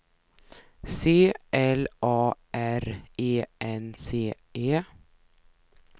C L A R E N C E